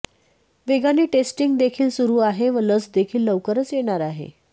वेगाने टेस्टिंग देखील सुरू आहे व लस देखील लवकरच येणार आहे